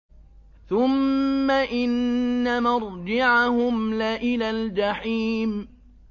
ثُمَّ إِنَّ مَرْجِعَهُمْ لَإِلَى الْجَحِيمِ